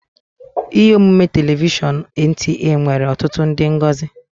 Ihe omume telivishọn NTA nwere ọtụtụ ndị ngosi